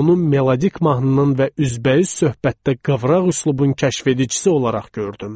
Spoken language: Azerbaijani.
onu melodik mahnının və üzbəüz söhbətdə qıvraq üslubun kəşfedicisi olaraq gördüm.